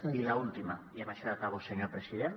i l’última i amb això ja acabo senyor president